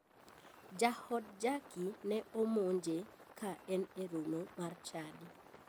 Jaod jacky ne omonje ka en e romo mar chadi.